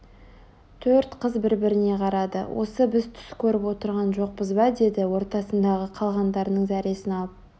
төрт қыз бір-біріне қарады осы біз түс көріп отырған жоқпыз ба деді ортасындағы қалғандарының зәресін алып